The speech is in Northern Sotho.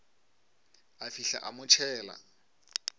a fihla a mo tšhela